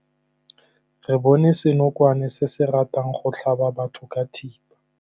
Re bone senokwane se se ratang go tlhaba batho ka thipa.